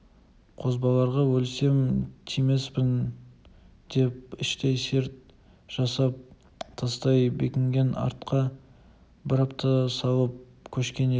қозбағарға өлсем тимеспін деп іштей серт жасап тастай бекінген артқа бір апта салып көшкен ел